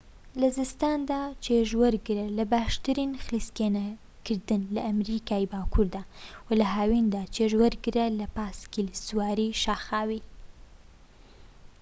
لە زستاندا چێژ وەرگرە لە باشترین خلیسکێنەکردن لە ئەمریکای باكووردا وە لە هاویندا چێژ وەرگرە لە پاسکیل سواریی شاخاوی